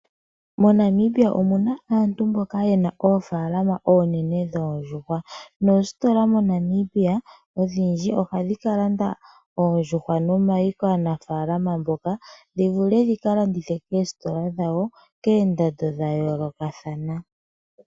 MoNamibia omuna aantu mboka yena oofaalama oonene dhoondjuhwa noositola ondhindji moNamibia ohadhi kalanda oondjuhwa nomayi kaanafalama mboka, ndhi vule ndhi Ka landithe keesitola ndha wo keendando ndha yooloka thana.